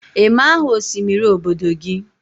ị ma aha osimiri obodo gị?